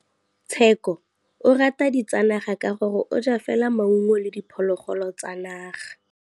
Tshekô o rata ditsanaga ka gore o ja fela maungo le diphologolo tsa naga.